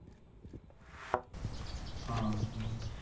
ହଁ ହୁଁ